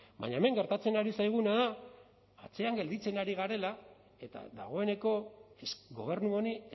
baina hemen gertatzen ari zaiguna da atzean gelditzen ari garela eta dagoeneko gobernu honi